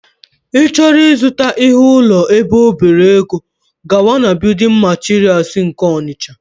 ị chọọ ịzụta ihe ụlọ ebe ọ bere ego, gawa na building materials nke Ọnịtsha